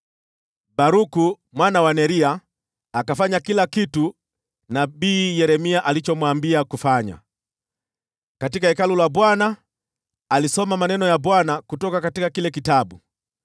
Baruku mwana wa Neria akafanya kila kitu nabii Yeremia alichomwambia kufanya. Alisoma maneno ya Bwana katika Hekalu la Bwana kutoka kile kitabu.